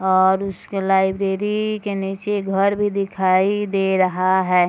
और उसके लाइब्रेरी के नीचे घर भी दिखाई दे रहा है।